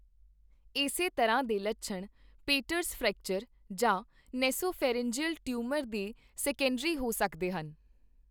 ਇਸੇ ਤਰ੍ਹਾਂ ਦੇ ਲੱਛਣ ਪੇਟਰਸ ਫ੍ਰੈਕਚਰ ਜਾਂ ਨੈਸੋਫੈਰਿੰਜਲ ਟਿਊਮਰ ਦੇ ਸੈਕੰਡਰੀ ਹੋ ਸਕਦੇ ਹਨ।